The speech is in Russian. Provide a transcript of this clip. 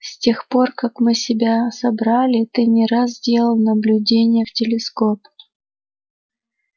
с тех пор как мы себя собрали ты не раз делал наблюдения в телескоп